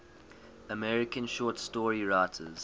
american short story writers